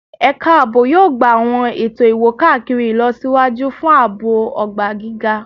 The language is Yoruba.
Ẹka aabo yoo gba awọn eto iwo-kakiri ilọsiwaju fun aabo ogba giga